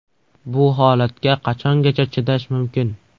Bu holatga qachongacha chidash mumkin?!